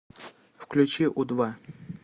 включи у два